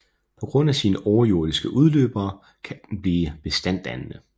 På grund af sine overjordiske udløbere kan den blive bestanddannende